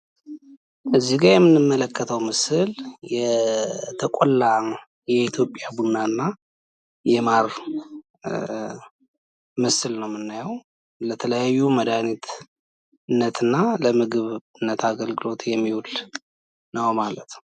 እዚ ጋ የምንመለከተው ምስል የተቆላ የኢትዮጵያ ቡና እና የማር ምስል ነው የምናየው። ለተለያዩ መድሀኒትነትና ለምግብነት አገልግሎት የሚውል ነው ማለት ነው።